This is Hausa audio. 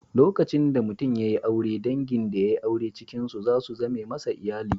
Lokacin da mutum ya yi aure, dangin da yai aure cikin su za su zame masa iyali.